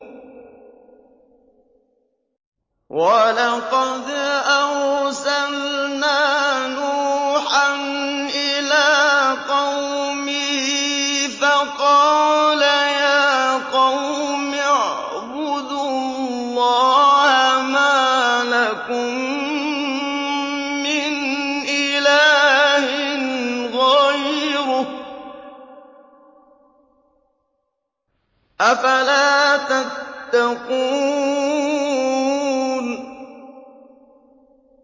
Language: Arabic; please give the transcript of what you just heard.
وَلَقَدْ أَرْسَلْنَا نُوحًا إِلَىٰ قَوْمِهِ فَقَالَ يَا قَوْمِ اعْبُدُوا اللَّهَ مَا لَكُم مِّنْ إِلَٰهٍ غَيْرُهُ ۖ أَفَلَا تَتَّقُونَ